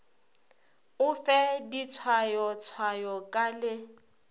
o fe ditshwayotshwayo ka le